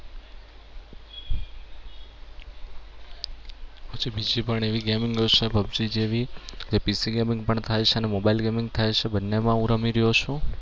જે બીજી પણ એવી gaming છે PUBG જેવી PC gaming છે બંનેમાં હું રમી રહ્યો છું.